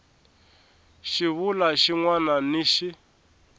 xivulwa xin wana ni xin